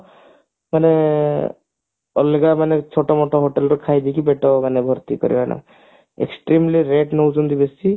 ମାନେ ଅଲଗା ମାନେ ଛୋଟ ମୋଟ hotel ଖାଇଦେଇକି better ମାନେ ଭର୍ତ୍ତି କରିବାନା extremely rate ନେଉଛନ୍ତି ବେଶୀ